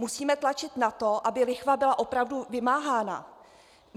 Musíme tlačit na to, aby lichva byla opravdu vymáhána.